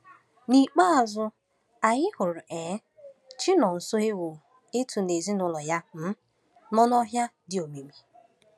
N’ikpeazụ, anyị hụrụ um Chinonsohew Itu na ezinụlọ ya um nọ n’ọhịa dị omimi.